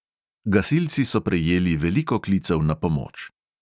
Gasilci so prejeli veliko klicev na pomoč.